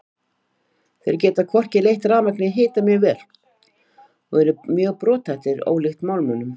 Þeir geta hvorki leitt rafmagn né hita mjög vel og eru mjög brothættir ólíkt málmunum.